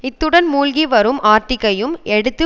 இத்துடன் மூழ்கி வரும் ஆர்ட்டிக்கையும் எடுத்து